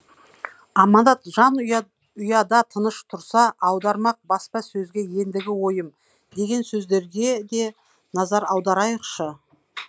аманат жан ұя ұяда тыныш тұрса аудармақ баспа сөзге ендігі ойым деген сөздерге де назар аударайықшы